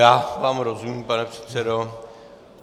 Já vám rozumím, pane předsedo.